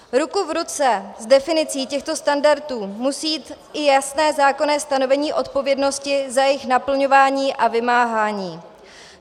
Ruku v ruce s definicí těchto standardů musí jít i jasné zákonné stanovení odpovědnosti za jejich naplňování a vymáhání.